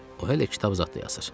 O hələ kitab zad da yazır.